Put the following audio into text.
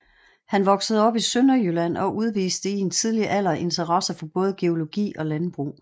Han voksede op i Sønderjylland og udviste i en tidlig alder interesse for både geologi og landbrug